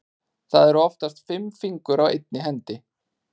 Það eru oftast fimm fingur á einni hendi.